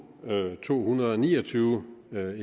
to hundrede og ni og tyve